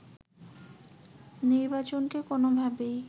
নির্বাচনকে কোনোভাবেই